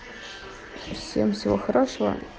всем всего хорошего